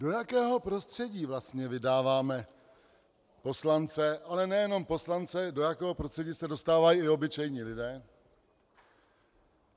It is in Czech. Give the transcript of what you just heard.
Do jakého prostředí vlastně vydáváme poslance, ale nejenom poslance, do jakého prostředí se dostávají i obyčejní lidé?